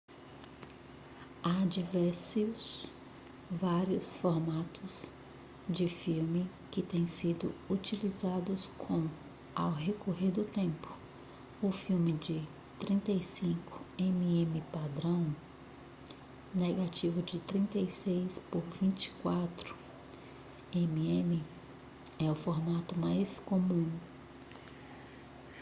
há diversos vários formatos de filme que têm sido utilizados com ao recorrer do tempo. o filme de 35 mm padrão negativo de 36 por 24 mm é o formato mais comum